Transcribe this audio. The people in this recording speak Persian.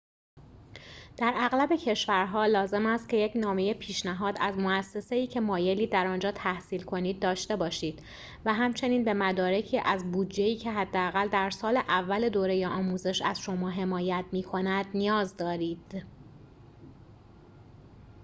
در اغلب کشورها لازم است که یک نامه پیشنهاد از موسسه‌ای که مایلید در آنجا تحصیل کنید داشته باشید و همچنین به مدارکی از بودجه‌ای که حداقل در سال اول دوره آموزش از شما حمایت می‌کند نیاز دارید